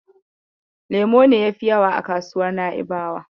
Lemo ne yafi yawa a kasuwar Na'ibawa.